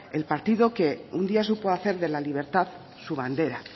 el partido que un día supo hacer de la libertad su bandera